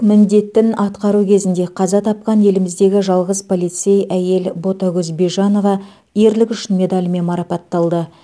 міндеттін атқару кезінде қаза тапқан еліміздегі жалғыз полицей әйел ботагөз бижанова ерлігі үшін медалімен марапатталды